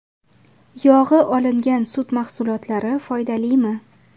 Yog‘i olingan sut mahsulotlari foydalimi?.